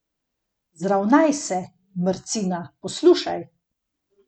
Zravnaj se, mrcina, poslušaj!